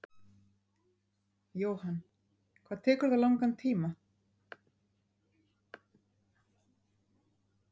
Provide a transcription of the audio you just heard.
Jóhann: Hvað tekur það langan tíma?